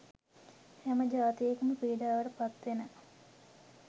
හැම ජාතියකම පීඩාවට පත් වෙන.